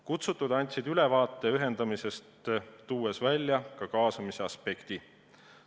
Kutsutud andsid ülevaate ühendamisest, tuues välja ka kaasamise aspekti.